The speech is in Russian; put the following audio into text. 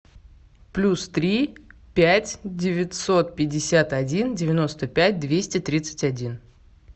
плюс три пять девятьсот пятьдесят один девяносто пять двести тридцать один